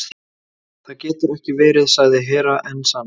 Það getur ekki verið, sagði Hera Enzana.